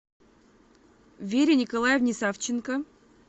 вере николаевне савченко